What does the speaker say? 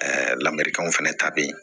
Ɛɛ lamerikanw fɛnɛ ta be ye